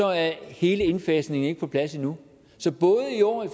er hele indfasningen ikke på plads endnu så både i år i